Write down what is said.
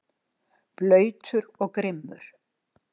Blautur og grimmur.